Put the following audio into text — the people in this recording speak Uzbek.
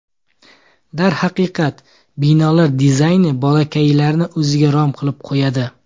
Darhaqiqat, binolar dizayni bolakaylarni o‘ziga rom qilib qo‘yadi.